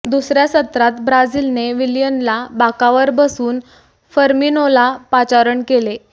दुसऱ्या सत्रात ब्राझीलने विलियनला बाकावर बसवून फर्मिनोला पाचारण केले